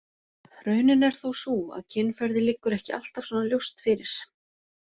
Raunin er þó sú að kynferði liggur ekki alltaf svona ljóst fyrir.